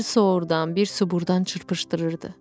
Bir sou oradan, bir sou buradan çırpışdırırdı.